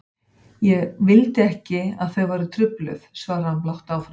Ég vildi ekki að þau væru trufluð, svarar hann blátt áfram.